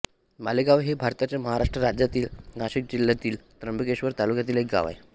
मालेगाव हे भारताच्या महाराष्ट्र राज्यातील नाशिक जिल्ह्यातील त्र्यंबकेश्वर तालुक्यातील एक गाव आहे